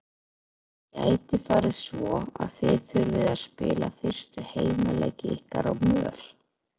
Gæti farið svo að þið þurfið að spila fyrstu heimaleiki ykkar á möl?